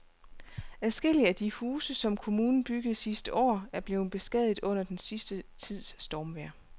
Adskillige af de huse, som kommunen byggede sidste år, er blevet beskadiget under den sidste tids stormvejr.